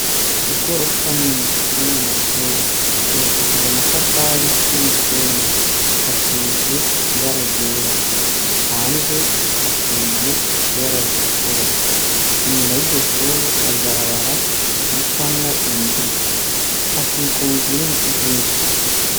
Igorofa nini ririmwo Amashure yubakishijwe amatafari, n'umusenyi asize ibara ryera, hanze hasize ibara ritukura, inyuma Yiryo Shure hari ibarabara ricamwo imiduga ,hakikujwe n'ibiti vyinshi.